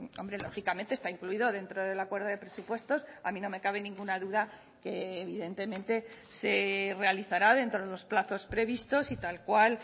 hombre lógicamente está incluido dentro del acuerdo de presupuestos a mí no me cabe ninguna duda que evidentemente se realizará dentro de los plazos previstos y tal cual